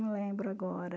Não lembro agora.